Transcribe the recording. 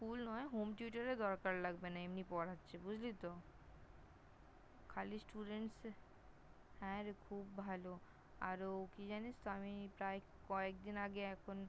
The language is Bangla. School নয়, Home Tutor এর দরকার লাগবে না এমনি পড়াচ্ছে বুঝলি তো? খালি Student -দের । হ্যাঁ রে খুব ভাল, আরও কি জানিস তো আমি প্রায় কয়েকদিন আগে এখন